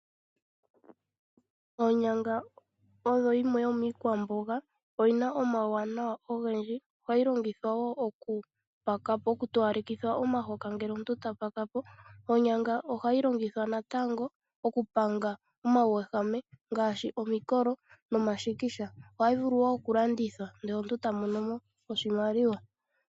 Oonyanga odho yimwe yomiikwamboga, oyi na omawuwanawa ogendji. Ohayi longithwa woo okupakapo , oku towalekitha omahoka ngele omuntu ta pakapo. Oonyanga oha yi longithwa natango okupanga omawuwehame ngaashi omikolo nomashikisha. Oha yi vulu woo okulandithwa ndele omuntu ta mono mo oshimaliwa.